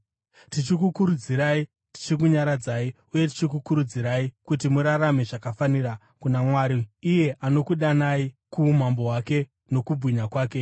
tichikukurudzirai tichikunyaradzai uye tichikukurudzirai kuti murarame zvakafanira kuna Mwari, iye anokudanai kuumambo hwake nokukubwinya kwake.